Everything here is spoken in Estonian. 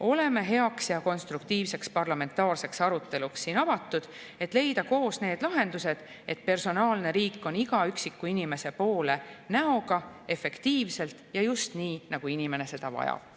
Oleme avatud heaks ja konstruktiivseks parlamentaarseks aruteluks, et leida koos need lahendused, et personaalne riik oleks iga üksiku inimese poole näoga, efektiivselt ja just nii, nagu inimene seda vajab.